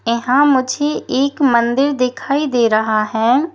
यहां मुझे एक मंदिर दिखाई दे रहा है।